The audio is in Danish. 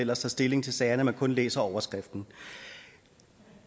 ellers tager stilling til sagerne man kun læser overskriften